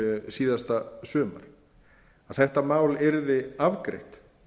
síðasta sumar að þetta mál yrði afgreitt